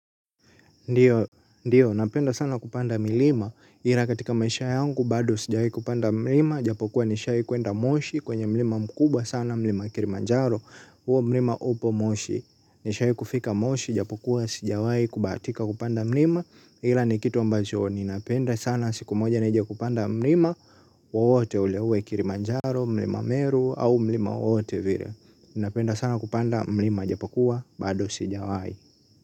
Ndio, ndio, napenda sana kupanda milima, ila katika maisha yangu, bado sijawahi kupanda mlima, japokuwa nishai kwenda moshi kwenye mlima mkubwa sana, mlima kilimanjaro, huo mlima upo moshi, nishai kufika moshi, japokuwa sijawahi kubahatika kupanda mlima, ila ni kitu ambacho, ninapenda sana siku moja nije kupanda mlima, wowote ule uwe kilimanjaro, mlima meru, au mlima wowote vile, ninapenda sana kupanda mlima, japokuwa, bado sijawahi.